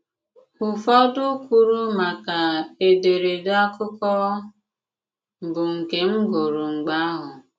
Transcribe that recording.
Ùfọdụ kwùrù maka èdèrèdè àkụ̀kọ, bụ́ nke m gụrụ mg̀bè àhụ̀.